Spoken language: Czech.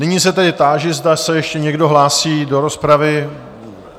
Nyní se tedy táži, zda se ještě někdo hlásí do rozpravy?